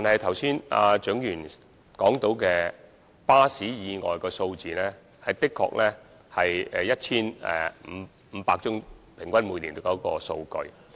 剛才蔣議員提及巴士意外的數字，每年平均的確有 1,500 多宗。